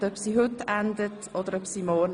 Das kann heute sein aber auch morgen.